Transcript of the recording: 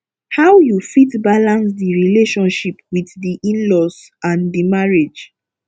how you fit balance di relationship with di inlaws and di marriage